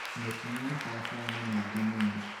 mĩtino ya barabara nĩ mĩingĩ mũno